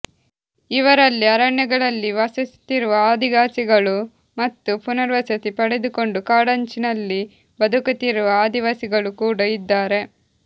ಇವರಲ್ಲಿ ಅರಣ್ಯಗಳಲ್ಲಿ ವಾಸಿಸುತ್ತಿರುವ ಆದಿವಾಸಿಗಳು ಮತ್ತು ಪುನರ್ವಸತಿ ಪಡೆದುಕೊಂಡು ಕಾಡಂಚಿನಲ್ಲಿ ಬದುಕುತ್ತಿರುವ ಆದಿವಾಸಿಗಳು ಕೂಡ ಇದ್ದಾರೆ